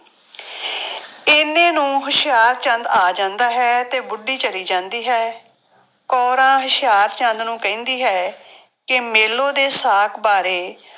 ਇੰਨੇ ਨੂੰ ਹੁਸ਼ਿਆਰਚੰਦ ਆ ਜਾਂਦਾ ਹੈ ਤੇ ਬੁੱਢੀ ਚਲੀ ਜਾਂਦੀ ਹੈ ਕੋਰਾਂ ਹੁਸ਼ਿਆਰਚੰਦ ਨੂੰ ਕਹਿੰਦੀ ਹੈ ਕਿ ਮੇਲੋ ਦੇ ਸਾਕ ਬਾਰੇ